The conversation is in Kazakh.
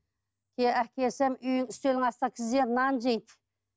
алып келсем үстелдің астына тізерлеп нан жейді